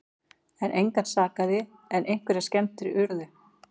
Engan sakaði en einhverjar skemmdir urðu